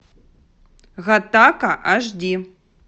гаттака аш ди